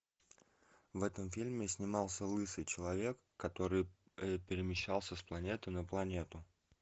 в этом фильме снимался лысый человек который перемещался с планеты на планету